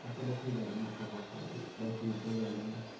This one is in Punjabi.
ਇੱਕ ਪੱਖਾ ਚੱਲਦਾ ਬਸ ਨੀਚੇ ਬਾਕੀ ਉਪਰ ਚੱਲਦਾ ਐ